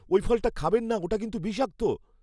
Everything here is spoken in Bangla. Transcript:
ওই ফলটা খাবেন না। ওটা কিন্তু বিষাক্ত।